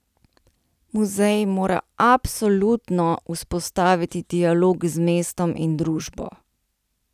Muzej mora absolutno vzpostaviti dialog z mestom in družbo.